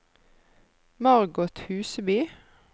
Margot Huseby